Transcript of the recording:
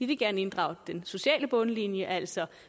vil gerne inddrage den sociale bundlinje altså